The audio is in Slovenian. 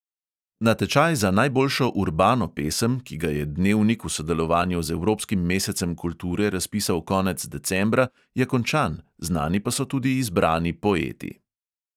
Natečaj za najboljšo urbano pesem, ki ga je dnevnik v sodelovanju z evropskim mesecem kulture razpisal konec decembra, je končan, znani pa so tudi izbrani poeti.